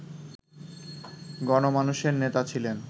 গণমানুষের নেতা ছিলেন